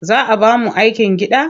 Za a ba mu aikin gida?